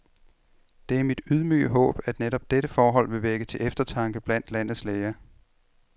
Det er mit ydmyge håb, at netop dette forhold vil vække til eftertanke blandt landets læger.